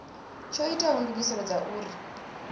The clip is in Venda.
tsho ita ndugiselo dza uri